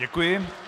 Děkuji.